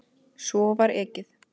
Svo var ekið.